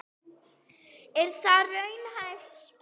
Er það raunhæf spá?